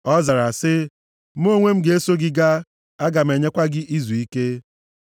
Ọ zara sị, “Mụ onwe m ga-eso gị gaa, aga m enyekwa gị izuike.”